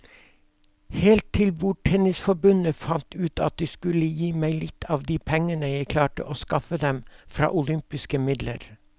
Helt til bordtennisforbundet fant ut at de skulle gi meg litt av de pengene jeg klarte å skaffe dem fra olympiske midler.